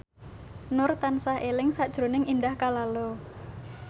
Nur tansah eling sakjroning Indah Kalalo